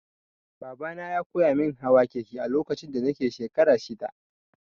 Babana ya koyamin hawa keke a lokacin da nake shekara shida.